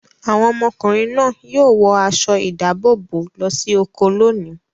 Àwọn ọmọkùnrin náà yóò wọ aṣọ-ìdáàbòbò lọ sí oko lónìí.